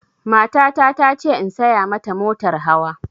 Matata ta ce in saya ma ta motar hawa